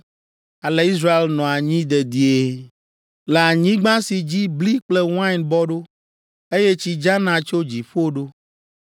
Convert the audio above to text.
Ale Israel nɔa anyi dedie; le anyigba si dzi bli kple wain bɔ ɖo, eye tsi dzana tso dziƒo ɖo.